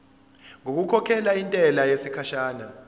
ngokukhokhela intela yesikhashana